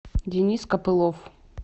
денис копылов